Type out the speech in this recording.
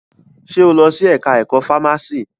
Ṣe o lọ sí ẹka ẹ̀kọ́ fámási?